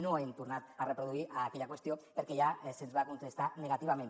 no hem tornat a reproduir aquella qüestió perquè ja se’ns va contestar negativament